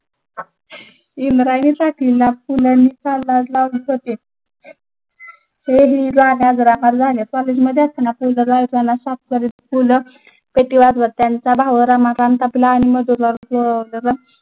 इंद्रायणीचा